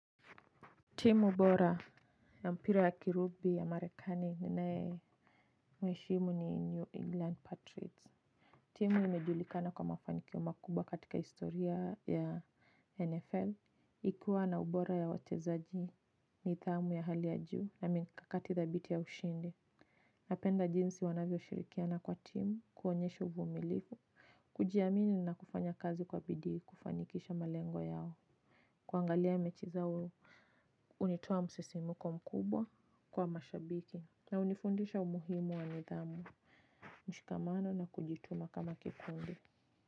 Timu bora ya mpira ya kirubi ya marekani ninaye mweshimu ni New England Patriots. Timu imejulikana kwa mafaniki o makubwa katika historia ya NFL. Ikiwa na ubora ya wachezaji nidhamu ya hali ya juu na mikakati thabiti ya ushindi. Napenda jinsi wanavyoshirikiana kwa timu kuonyesho uvumilivu. Kujiamini na kufanya kazi kwa bidii kufanikisha malengo yao. Kuangalia mechi zao hunitoa msisimko mkubwa kwa mashabiki na hunifundisha umuhimu wa nidhamu mshikamano na kujituma kama kikundi.